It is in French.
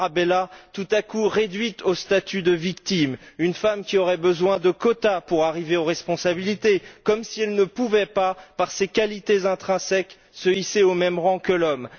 Tarabella, tout à coup réduite au statut de victime, à une femme qui aurait besoin de quotas pour arriver aux responsabilités comme si elle ne pouvait pas, par ses qualités intrinsèques, se hisser au même rang que l'homme.